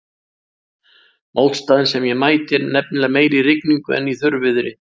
Mótstaðan sem ég mæti er nefnilega meiri í rigningu en í þurrviðri.